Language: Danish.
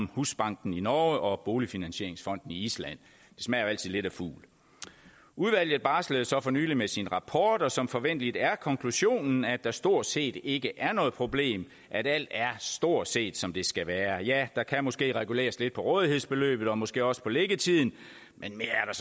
husbanken i norge og boligfinansieringsfonden i island det smager jo altid lidt af fugl udvalget barslede så for nylig med sin rapport og som forventeligt er konklusionen at der stort set ikke er noget problem at alt stort set er som det skal være ja der kan måske reguleres lidt på rådighedsbeløbet og måske også på liggetiden men mere er